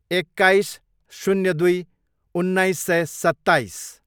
एक्काइस, शून्य दुई, उन्नाइस सय सत्ताइस